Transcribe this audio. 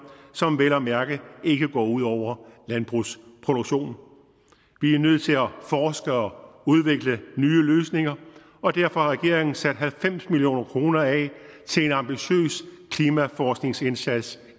som vel at mærke ikke går ud over landbrugsproduktionen vi er nødt til at forske og udvikle nye løsninger og derfor har regeringen sat halvfems million kroner af til en ambitiøs klimaforskningsindsats